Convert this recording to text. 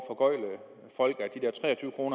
for